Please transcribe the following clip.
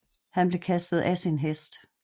Han blev kastet af sin hest